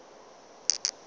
ge a re nna ke